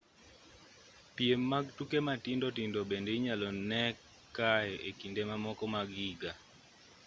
piem mag tuke matindo tindo bende inyalo nee kaye e kinde mamoko mag higa